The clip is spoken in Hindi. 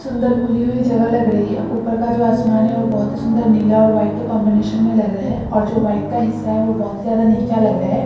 सुंदर खुली हुई जगह लग रही है ऊपर का जो आसमान है वो बहुत ही सुंदर नीला और वाइट के कॉम्बिनेशन में लग रहा है और जो वाइट का हिस्सा है वो बहुत ज्यादा नीचा लग रहा है।